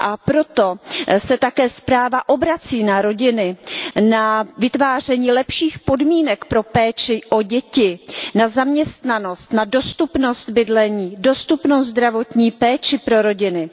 Proto se také zpráva obrací na rodiny, na vytváření lepších podmínek pro péči o děti, na zaměstnanost, na dostupnost bydlení, dostupnou zdravotní péči pro rodiny.